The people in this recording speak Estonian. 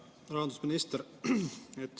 Hea rahandusminister!